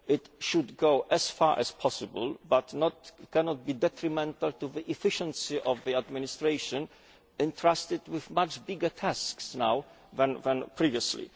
This should go as far as possible but cannot be detrimental to the efficiency of the administration which is entrusted with much bigger tasks now than previously.